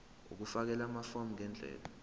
ukufakela amafomu ngendlela